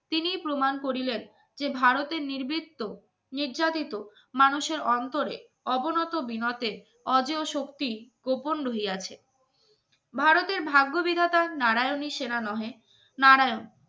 তিনি প্রমাণ করিলেন যে ভারতের নির্বীত্ব নির্যাতিত মানুষের অন্তরে অবনত বিনতে শক্তি গোপন রহিয়াছে ভারতের ভাগ্যবিধাতার নারায়নের সেনা নহে নারায়